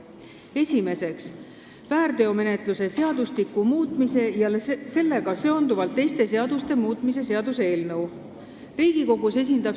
Esiteks, väärteomenetluse seadustiku muutmise ja sellega seonduvalt teiste seaduste muutmise seaduse eelnõu.